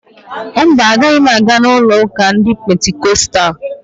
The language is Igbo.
Mba, agaghị m aga n'ụlo ụka ndị Pentikostalụ